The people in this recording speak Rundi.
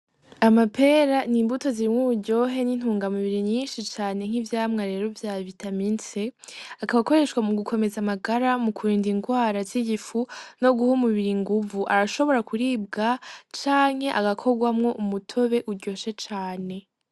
Amapera ni imbuto zirimwe uburyohe n'intunga mubiri nyinshi cane nk'ivyamwa rero vya bitamintse akabakoreshwa mu gukomeza amagara mu kubinda ingwara z'igifu no guha umubiri inguvu arashobora kuribwa canke agakorwamwo umutobe uryoshe cane.